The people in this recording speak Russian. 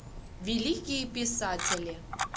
великие писатели